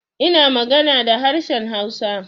Ina magana da harshen Hausa.